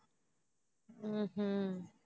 ஹம் உம்